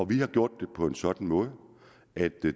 vi har gjort det på en sådan måde at